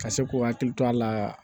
Ka se k'u hakili to a la